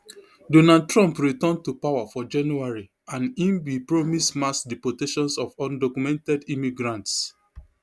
donald trump return to power for january and im bin promise mass deportations of undocumented immigrants